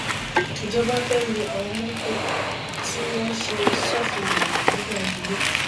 ìjọba fẹẹ lu àwọn mọtò tí wọn ṣe sófin ìrìnnà ní gbàǹjo lẹkọọ